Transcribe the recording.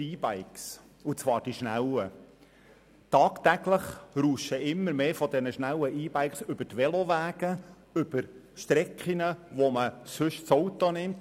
Tagtäglich rauschen immer mehr davon über die Velowege, über Distanzen, für die man sonst das Auto nimmt.